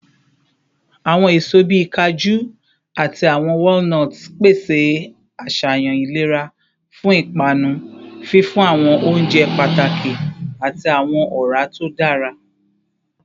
Awọn eso bii kaju ati awọn walnuts pese aṣayan ilera fun ipanu, fifun awọn ounjẹ pataki ati awọn ọra to dara